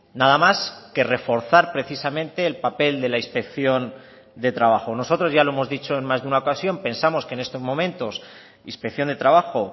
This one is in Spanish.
nada más que reforzar precisamente el papel de la inspección de trabajo nosotros ya lo hemos dicho en más de una ocasión pensamos que en estos momentos inspección de trabajo